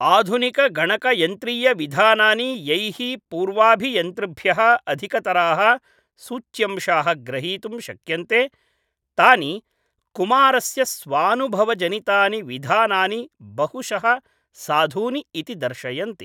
आधुनिकगणकयन्त्रीयविधानानि यैः पूर्वाभियन्तृभ्यः अधिकतराः सूच्यंशाः ग्रहीतुं शक्यन्ते तानि कुमारस्य स्वानुभवजनितानि विधानानि बहुशः साधूनि इति दर्शयन्ति।